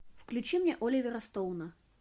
включи мне оливера стоуна